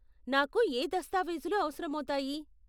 నాకు ఏ దస్తావేజులు అవసరమౌతాయి?